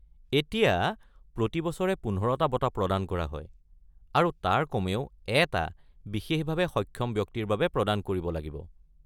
এতিয়া, প্ৰতি বছৰে ১৫টা বঁটা প্ৰদান কৰা হয়, আৰু তাৰে কমেও এটা বিশেষভাৱে সক্ষম ব্যক্তিৰ বাবে প্ৰদান কৰিব লাগিব।